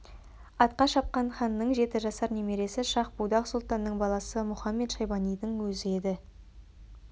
атқа шапқан ханның жеті жасар немересі шах-будақ сұлтанның баласы мұхамед-шайбанидің өзі еді